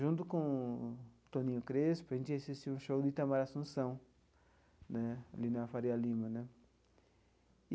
Junto com o Toninho Crespo, a gente ia assistir um show de Itamar Assumpção né, ali na Faria Lima né.